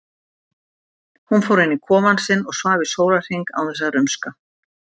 Hún fór inn í kofann sinn og svaf í sólarhring án þess að rumska.